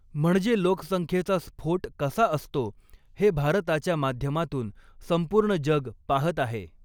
म्हणजे लोकसंख्येचा स्फोट कसा असतो हे भारताच्या माध्यमातून संपूर्ण जग पाहत आहे.